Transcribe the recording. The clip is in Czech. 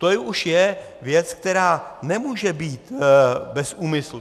To už je věc, která nemůže být bez úmyslu.